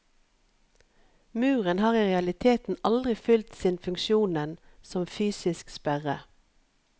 Muren har i realiteten aldri fyllt sin funksjonen som fysisk sperre.